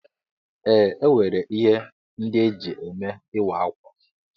Ee, enwere ihe ndị eji eme ịwa ákwà.